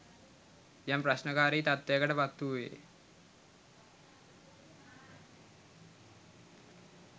යම් ප්‍රශ්නකාරී තත්ත්වයකට පත්වූයේ